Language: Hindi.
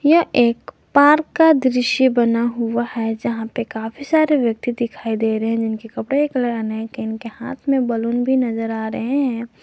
यह एक पार्क का दृश्य बना हुआ है जहां पे काफी सारे व्यक्ति दिखाई दे रहे है जिनके कपड़े के कलर अनेक है इनके हाथ में बलून भी नजर आ रहे है।